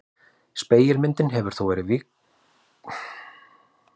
Spegilmyndin hefur þó víxlað á hugtökunum hægri og vinstri.